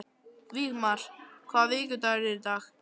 Vígmar, hvaða vikudagur er í dag?